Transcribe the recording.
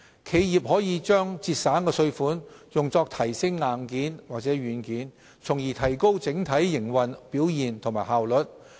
企業可把省下的稅款用作提升硬件或軟件，從而提高整體營運表現及效率。